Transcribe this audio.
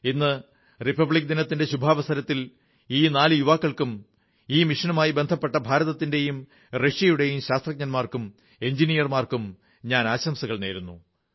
ഇന്ന് റിപ്പബ്ലിക് ദിനത്തിന്റെ ശുഭാവസരത്തിൽ ഈ നാലു യുവാക്കൾക്കും ഈ മിഷനുമായി ബന്ധപ്പെട്ട ഭാരതത്തിന്റെയും റഷ്യയുടെയും ശാസ്ത്രജ്ഞന്മാർക്കും എഞ്ചിനീയർമാർക്കും ഞാൻ ആശംസകൾ നേരുന്നു